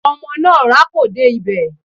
Ọmọ náà rákò dé ibẹ̀.